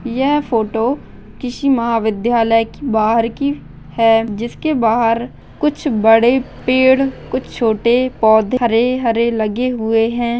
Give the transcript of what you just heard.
यह फोटो किसी महाविद्यालय की बाहर की है जिसके बाहर कुछ बड़े पेड़ कुछ छोटे पौधे हरे हरे लगे हुये है।